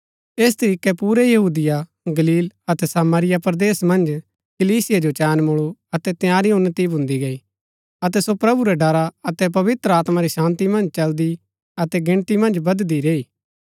ऐस तरीकै पुरै यहूदिया गलील अतै सामरिया परदेस मन्ज कलीसिया जो चैन मुळु अतै तंयारी उन्‍नति भून्दी गई अतै सो प्रभु रै ड़रा अतै पवित्र आत्मा री शान्ती मन्ज चलदी अतै गिनती मन्ज बददी रैई